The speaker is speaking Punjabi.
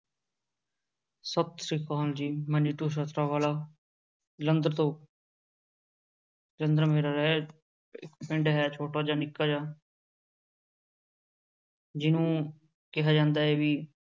ਸਤਿ ਸ੍ਰੀ ਅਕਾਲ ਜੀ ਮੈਂ ਨੀਤੂ ਵਾਲਾ ਜਲੰਧਰ ਤੋਂ ਪਿੰਡ ਹੈ ਛੋਟਾ ਜਿਹਾ ਨਿੱਕਾ ਜਿਹਾ ਜਿਹਨੂੰ ਕਿਹਾ ਜਾਂਦਾ ਹੈ ਵੀ